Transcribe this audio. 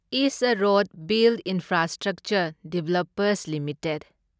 is a road build infrastructure developers limited